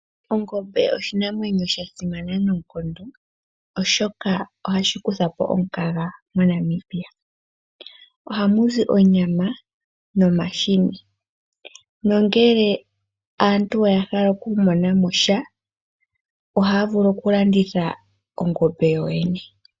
Ongombe oshinamwenyo sha simana noonkondo oshoka ohashi kutha po omukaga moNamibia. Ohamuzi onyama nomahini. Nongele aantu oya hala okumona mo sha ohaya vulu okulanditha ongombe yoyene.